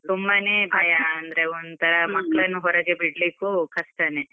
ಸುಮ್ಮನೆ ಭಯ, ಅಂದ್ರೆ ಒಂತರ ಮಕ್ಳನ್ನು ಹೊರಗೆ ಬಿಡ್ಲಿಕು ಕಷ್ಟನೇ.